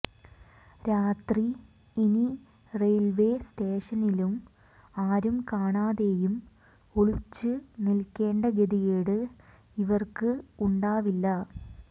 രാത്രി ഇനി റെയിൽവേ സ്റ്റേഷനിലും ആരും കാണാതെയും ഒളിച്ച് നിൽക്കേണ്ട ഗതികേട് ഇവർക്ക് ഉണ്ടാവില്ല